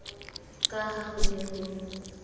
ka ha ho ne ho